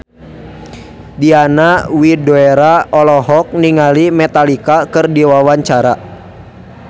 Diana Widoera olohok ningali Metallica keur diwawancara